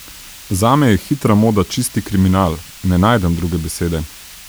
Zame je hitra moda čisti kriminal, ne najdem druge besede.